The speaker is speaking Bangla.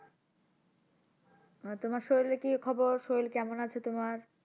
তোমার শরীরের কি খবর শরীর কেমন আছে তোমার?